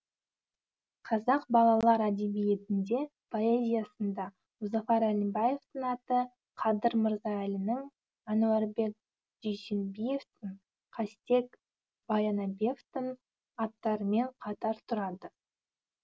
қазақ балалар әдебиетінде поэзиясында мұзафар әлімбаевтың аты қадыр мырза әлінің әнуарбек дүйсенбиевтің қастек баянабевтың аттарымен қатар тұрады